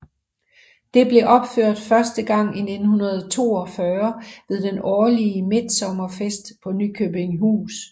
Det blev opført første gang i 1942 ved den årlige midtsommerfest på Nyköpingshus